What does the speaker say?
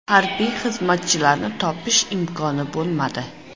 Harbiy xizmatchilarni topish imkoni bo‘lmadi.